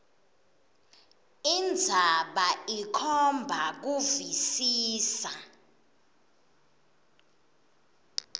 indzaba ikhomba kuvisisa